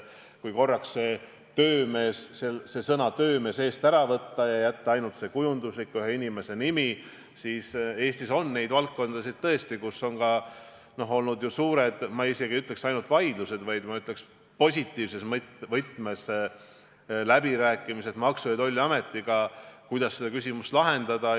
Kui korraks see sõna "töömees" eest ära võtta ja jätta ainult see sümboolne ühe inimese nimi, siis jah, Eestis on tõesti valdkondi, kus on olnud käinud suured, ma isegi ei ütleks, et ainult vaidlused, vaid ma ütleks positiivses võtmes, et ka läbirääkimised Maksu- ja Tolliametiga, kuidas seda küsimust lahendada.